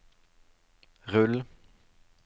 rull